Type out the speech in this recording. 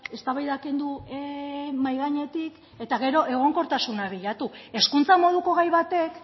eztabaida kendu mahai gainetik eta gero egonkortasuna bilatu hezkuntza moduko gai batek